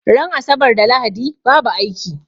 Ran asabar da lahadi babu aiki